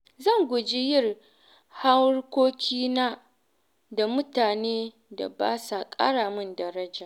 Zan guji yin harkokina da mutanen da ba sa ƙara min daraja.